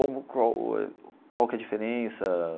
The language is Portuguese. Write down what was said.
Como qual eh qual que é a diferença.